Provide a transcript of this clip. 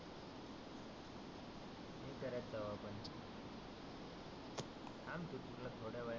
करत जाऊ आपण थांब तु तुला थोड्या वेळानी